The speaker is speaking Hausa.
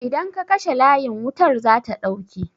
Idan ka kashe layin wutar zata ɗauke